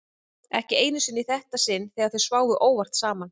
Ekki einu sinni í þetta sinn þegar þau sváfu óvart saman.